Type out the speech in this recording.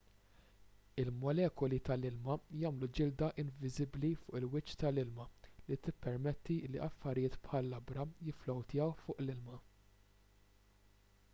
il-molekuli tal-ilma jagħmlu ġilda inviżibbli fuq il-wiċċ tal-ilma li tippermetti li affarijiet bħal labra jifflowtjaw fuq l-ilma